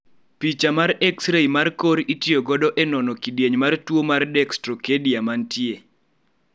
picha mar x-ray mar kor itiyo godo e nono kidieny mar tuo mar dextrocardia mantie